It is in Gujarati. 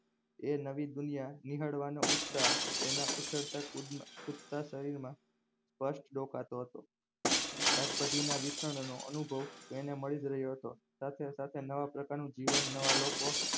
એ નવી દુનિયા નિહાળવાનો ઉત્સાહ એના ઉછળતા કુદતા શરીરમાં સ્પષ્ટ દેખાતો હતો શાકભાજીના વિતરણનો અનુભવ તેને મળીજ રહ્યો હતો સાથે સાથે નવા પ્રકારનું જીવન નવા લોકો